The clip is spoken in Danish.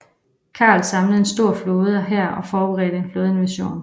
Karl samlede en stor flåde og hær og forberedte en flådeinvasion